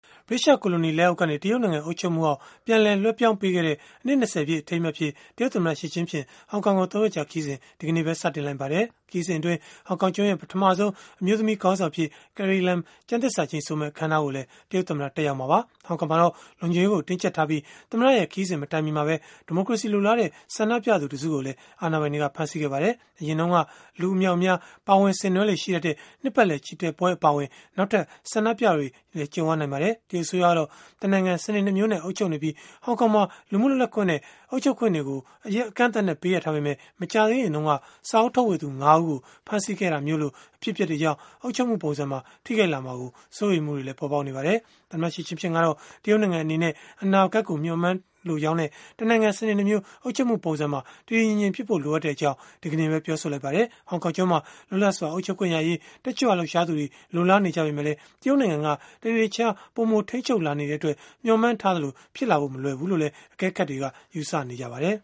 ဗြိတိသျှ ကိုလိုနီလက်အောက်ကနေ တရုတ်နိုင်ငံ အုပ်ချုပ်မှုအောက် ပြန်လည်လွဲှပြောင်းပေးခဲ့တဲ့ အနှစ် ၂၀ ပြည့် အထိမ်းအမှတ်အဖြစ် တရုတ်သမ္မတ Xi Jinping ဟောင်ကောင်ကို ၃ ရက်ကြာ ခရီးစဉ် ဒီကနေ့ စတင်လိုက်ပါတယ်။ ခရီးစဉ်အတွင်း ဟောင်ကောင်ကျွန်းရဲ့ ပထမဆုံး အမျိုးသမီး ခေါင်းဆောင်အဖြစ် Carrie Lam ကျမ်းသစ္စာကျိန်ဆိုမယ့် အခန်းအနားကိုလည်း တရုတ်သမ္မတ တက်ရောက်မှာပါ။ ဟောင်ကောင်မှာတော့ လုံခြုံရေးကို တင်းကြပ်ထားပြီး၊ တရုတ်သမ္မတရဲ့ ခရီးစဉ်မတိုင်မီမှာပဲ ဒီမိုကရေစီ လိုလားတဲ့ ဆန္ဒပြခဲ့ကြသူ တစုကိုလည်း အာဏာပိုင်တွေက ဖမ်းဆီးခဲ့ပါတယ်။ အရင်တုန်းက လူအမြောက်အများ ပါဝင်ဆင်နွှဲလေ့ ရှိတတ်တဲ့ နှစ်ပတ်လည် ချီတက်ပွဲ အပါအဝင် နောက်ထပ် ဆန္ဒပြပွဲတွေလည်း ကြုံရနိုင်ပါတယ်။ တရုတ်အစိုးရကတော့ တနိုင်ငံ စနစ် ၂ မျိုးနဲ့ အုပ်ချုပ်နေပြီး၊ ဟောင်ကောင်မှာ လူမှုလွတ်လပ်ခွင့်နဲ့ အုပ်ချုပ်ခွင့်တွေကို အကန့်အသတ်နဲ့ ပေးအပ်ထားပေမဲ့၊ မကြာသေးခင်တုန်းက စာအုပ်ထုတ်ဝေသူ ၅ ဦးကို ဖမ်းဆီးခဲ့တာလို အဖြစ်အပျက်တွေကြောင့် အုပ်ချုပ်မှုပုံစံကို ထိခိုက်လာမှာ စိုးရိမ်မှုတွေလည်း ပေါ်ပေါက်လာခဲ့တာပါ။ သမ္မတ Xi Jinping ကတော့ တရုတ်နိုင်ငံ အနေနဲ့ အနာဂတ်ကို မျှော်မှန်းလိုကြောင်းနဲ့၊ တနိုင်ငံ စနစ် ၂ မျိုး အုပ်ချုပ်မှုပုံစံကို တည်တည်ငြိမ်ငြိမ်ဖြစ်ဖို့ လိုအပ်ကြောင်း ဒီကနေ့ပဲ ပြောဆိုလိုက်ပါတယ်။ ဟောင်ကောင်ကျွန်းမှာ လွတ်လပ်စွာ အုပ်ချုပ်ခွင့်ရရေး တက်ကြွလှုပ်ရှားသူတွေ လိုလားနေကြပေမဲ့ တရုတ်နိုင်ငံက တနေ့တခြားပိုမို ထိန်းချုပ်လာနေတဲ့အတွက် မျှော်မှန်းထားသလို ဖြစ်လာဖို့ မလွယ်ဘူးလို့လည်း အကဲခတ်တွေက ယူဆနေကြပါတယ်။